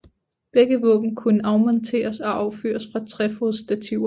Begge våben kunne afmonteres og affyres fra trefodsstativer